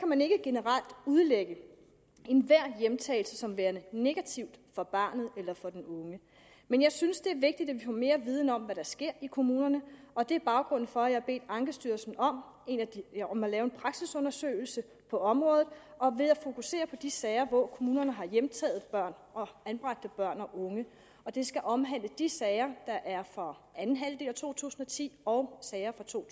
man ikke generelt udlægge enhver hjemtagelse som værende negativ for barnet eller for den unge men jeg synes at det er vigtigt at vi får mere viden om hvad der sker i kommunerne og det er baggrunden for at jeg har bedt ankestyrelsen om om at lave en praksisundersøgelse på området og at fokusere på de sager hvor kommunerne har hjemtaget anbragte børn og unge og den skal omhandle de sager der er fra anden halvdel af to tusind og ti og sager fra to